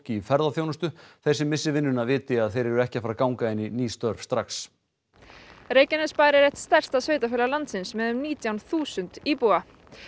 í ferðaþjónustu þeir sem missi vinnuna viti að þeir eru ekki að fara að ganga inn í ný störf strax Reykjanesbær er eitt stærsta sveitarfélag landsins með um nítján þúsund íbúa